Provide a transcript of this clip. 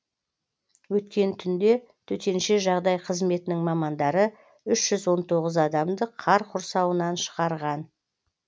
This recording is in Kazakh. өткен түнде төтенше жағдай қызметінің мамандары үш жүз он тоғыз адамды қар құрсауынан шығарған